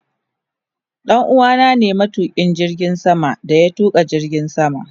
Danuwa na ne matukin jirgin sama da ya tuka jirgin sama.